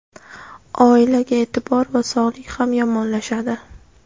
oilaga e’tibor va sog‘lik ham yomonlashadi.